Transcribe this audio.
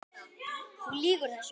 Þú lýgur þessu!